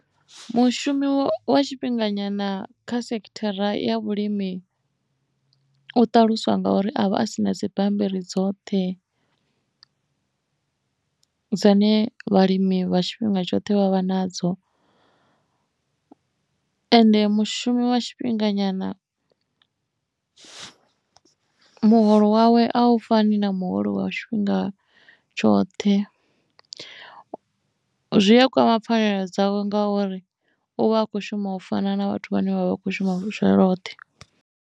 Mushumi wa tshifhinganyana kha sekhithara ya vhulimi u ṱalusiwa ngauri avha a si na dzibammbiri dzoṱhe dzine vhalimi vha tshifhinga tshoṱhe vhavha nadzo ende mushumi wa tshifhinga nyana muholo wawe a u fani na muholo wa tshifhinga tshoṱhe zwi a kwama pfhanela dzawe ngauri u vha a kho shuma u fana na vhathu vhane vha vha kho shuma tsha lwoṱhe.